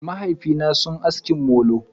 Mahaifina na sun aski molo.